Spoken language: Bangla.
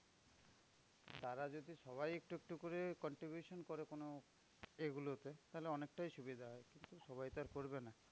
তারা যদি সবাই একটু একটু করে contribution করে কোনো এগুলোতে তাহলে অনেকটাই সুবিধা হবে। সবাই তো আর করবে না।